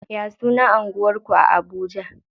Ya sunan anguwar ku a Abuja?